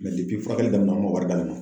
furakɛli daminɛ an man wari d'ale ma.